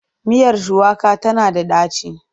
Miyar shuwaka tana da ɗaci.